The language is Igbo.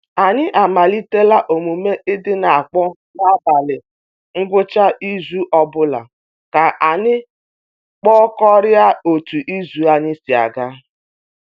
Anyị amalitela omume i di n'akpọ n'abalị ngwucha izu ọbụla ka anyị kpakorịa otu izu anyị si ga.